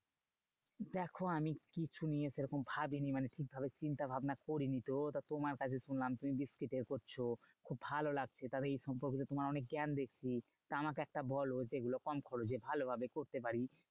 দেখো আমি কিছু নিয়ে সেরকম ভাবিনি মানে ঠিকভাবে চিন্তাভাবনা করিনি তো। তা তোমার কাছে শুনলাম তুমি biscuit এর করছো, খুব ভালো লাগছে। তবে এই সম্পর্কে তোমার অনেক জ্ঞান দেখছি। তা আমাকে একটা বোলো যেগুলো কম খরচে ভালোভাবে করতে পারি।